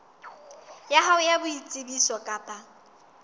ya hao ya boitsebiso kapa